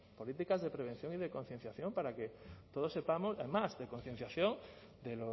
políticas de prevención y concienciación para que todos sepamos además de concienciación de